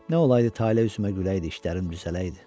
Nə olaydı tale üzümə güləydi, işlərim düzələydi.